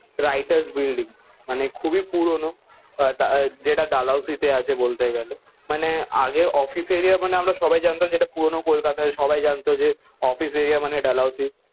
Writers building. মানে খুবই পুরনো যেটা ডালহৌসিতে আছে বলতে গেলে। মানে আগে অফিস এরিয়া মানে আমরা সবাই জানতাম যেটা পুরনো কলকাতা সবাই জানতো যে অফিস এরিয়া মানে ডালহৌসি।